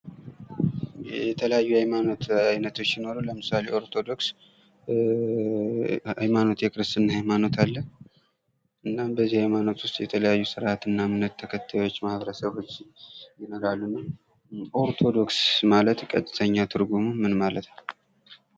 የተለያዩ የሃይማኖት አይነቶች ሲኖሩ ለምሳሌ ኦርቶዶክስ ሃይማኖት የክርስትና ሃይማኖት አለ። እናም በዚህ ሃይማኖት ውስጥ የተለያዩ ስራአትና እምነት ተከታዮች ማበረሰቦች ይኖራሉ። ኦርቶዶክስ ማለት ቀጥተኛ ትርጉሙ ምን ማለት ነው።